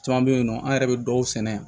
Caman bɛ yen nɔ an yɛrɛ bɛ dɔw sɛnɛ yan